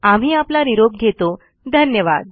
आम्ही आपला निरॊप घेतॊ धन्यवाद